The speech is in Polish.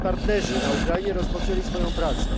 Nasi partnerzy na Ukrainie rozpoczęli swoją pracę.